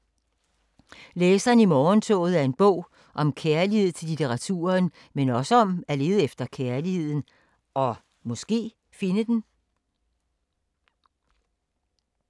Læseren i morgentoget er en bog om kærlighed til litteraturen, men også om at lede efter kærligheden og måske finde den…